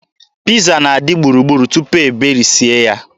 Piiza na-adị gburugburu tupu e berisie ya.